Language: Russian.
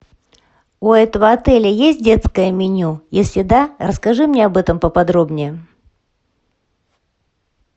у этого отеля есть детское меню если да расскажи мне об этом поподробнее